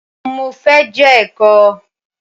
Mo fẹ́ je ẹ̀kọ.